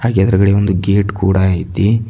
ಎದ್ರುಗಡೆ ಒಂದು ಗೇಟ್ ಕೂಡ ಇದೆ.